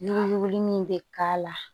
Ɲugu min bɛ k'a la